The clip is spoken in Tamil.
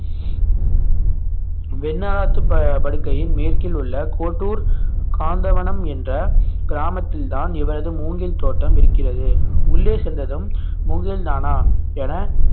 வெண்ணாத்து ப~ படுக்கையின் மேற்கில் உள்ள கோட்டூர் காந்தவனம் என்ற கிராமத்தில்தான் இவரது மூங்கில் தோட்டம் இருக்கிறது உள்ளே சென்றதும் மூங்கில் தானா என